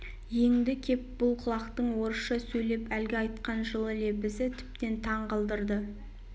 еңді кеп бұл құлактың орысша сөйлеп әлгі айтқан жылы лебізі тіптен таң қалдырды